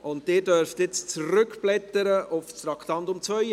Und Sie dürfen jetzt zurückblättern zum Traktandum 42.